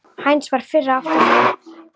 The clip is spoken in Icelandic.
Heinz varð fyrri til að átta sig.